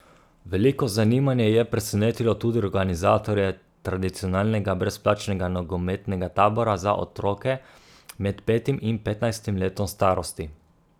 Veliko zanimanje je presenetilo tudi organizatorje tradicionalnega brezplačnega nogometnega tabora za otroke med petim in petnajstim letom starosti.